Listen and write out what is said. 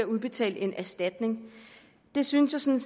udbetales en erstatning det synes jeg